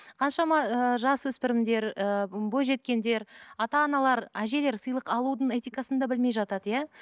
қаншама ыыы жасөспірімдер ыыы бойжеткендер ата аналар әжелер сыйлық алудың этикасын да білмей жатады иә